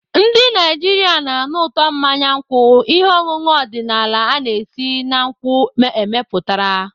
Ndị Naijiria na-anụ ụtọ mmanya nkwụ, ihe ọṅụṅụ ọdịnala a na-esi na nkwụ emepụtara.